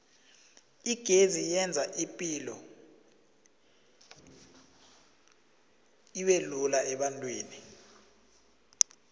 igezi yenza ipilo ubelula ebantwini